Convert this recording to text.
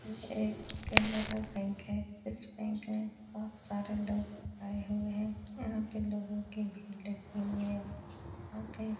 यह एक कैनरा बैंक है। इस बैंक में बोहोत सारे लोग आये हुए हैं। यहाँ पे लोगो की भीड़ लगी हुई हैं। यहाँ पे --